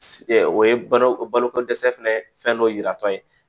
o ye balo baloko dɛsɛ fana fɛn dɔ yiratɔ ye